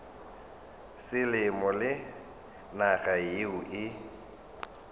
selemo le naga yeo e